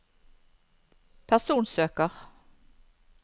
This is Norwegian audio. personsøker